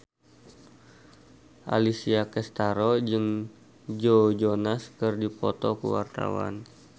Alessia Cestaro jeung Joe Jonas keur dipoto ku wartawan